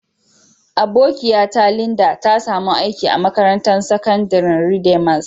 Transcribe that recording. Abokiya ta Linda, ta samu aiki a makarantan sakandaren Redeemers.